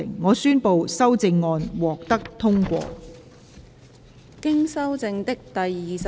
我宣布修正案獲得通過。